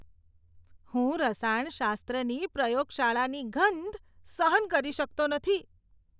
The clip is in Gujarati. હું રસાયણશાસ્ત્રની પ્રયોગશાળાની ગંધ સહન કરી શકતો નથી.